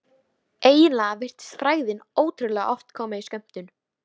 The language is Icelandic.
Eiginlega virtist frægðin ótrúlega oft koma í skömmtum.